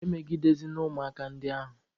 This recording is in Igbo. Emegidezịna ụmụaka a ndị ahụ!